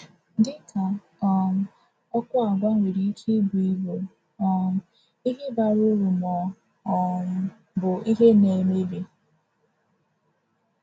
Dị ka um ọkụ, àgwà nwere ike ịbụ ịbụ um ihe bara uru ma ọ um bụ ihe na-emebi.